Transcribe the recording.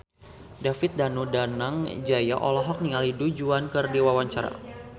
David Danu Danangjaya olohok ningali Du Juan keur diwawancara